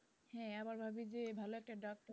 হ্যাঁ আবার ভাবি যে ভালো একটা doctor,